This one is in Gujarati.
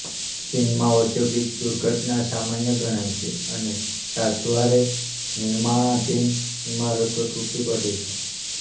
ચીનમાં ઔદ્યોગિક દુર્ઘટના સામાન્ય ગણાય છે અને છાસવારે નિર્માણાધીન ઈમારતો તૂટી પડે છે